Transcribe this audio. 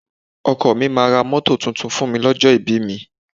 Ọkọ mi máa ra mọ́tò tuntun fún mi ní ọjọ́ ìbí mi.